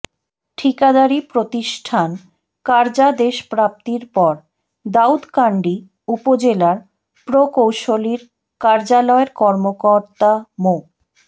ঠিকাদারি প্রতিষ্ঠান কার্যাদেশপ্রাপ্তির পর দাউদকান্দি উপজেলার প্রকৌশলীর কার্যালয়ের কর্মকর্তা মো